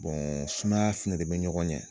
Boɔn sumaya fɛnɛ de be ɲɔgɔn yɛ